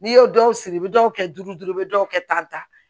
N'i y'o dɔw sigi i bɛ dɔw kɛ duuru duuru i bɛ dɔw kɛ tan